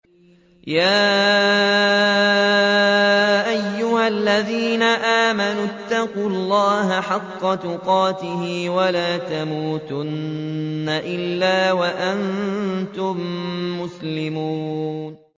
يَا أَيُّهَا الَّذِينَ آمَنُوا اتَّقُوا اللَّهَ حَقَّ تُقَاتِهِ وَلَا تَمُوتُنَّ إِلَّا وَأَنتُم مُّسْلِمُونَ